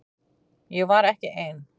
Ég var ekki ein.